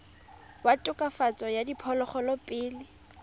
wa tokafatso ya diphologolo pele